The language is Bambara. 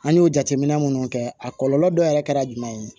An y'o jateminɛ minnu kɛ a kɔlɔlɔ dɔ yɛrɛ kɛra jumɛn ye